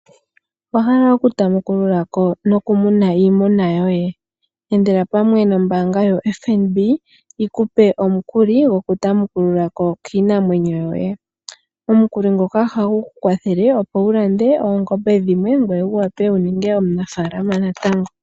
Owa hala oku tamukululako nokumuna iimuna yoye? Endela pamwe nombaanga yo FNB yi kupe omukuli gokutamukululako kiinamwenyo yoye. Omukuli ngoka ohagu ku kwathele opo wu lande oongombe dhimwe ngwee wu wape wu ninge omunafaalama natango.